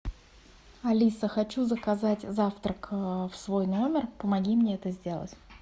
алиса хочу заказать завтрак в свой номер помоги мне это сделать